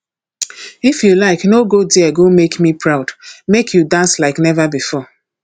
if you like no go there make me proud make you dance like never before